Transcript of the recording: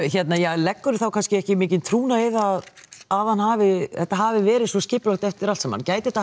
leggurðu þá kannski ekki mikinn trúnað í það að hann hafi þetta hafi verið svo skipulagt eftir allt saman gæti þetta